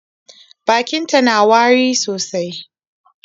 Bakinta na wari sosai.